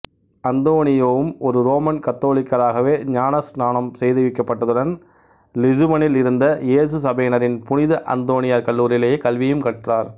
அந்தோனியோவும் ஒரு ரோமன் கத்தோலிக்கராகவே ஞானஸ்நானம் செய்விக்கப்பட்டதுடன் லிசுபனில் இருந்த யேசு சபையினரின் புனித அந்தோனியார் கல்லூரியிலேயே கல்வியும் கற்றார்